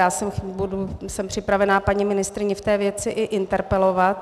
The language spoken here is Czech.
Já jsem připravena paní ministryni v té věci i interpelovat.